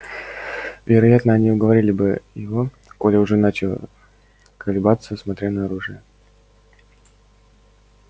вероятно они уговорили бы его коля уже начал колебаться смотря на оружие